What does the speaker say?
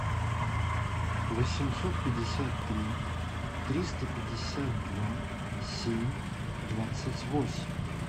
восемьсот пятьдесят три триста пятьдесят два семь двадцать восемь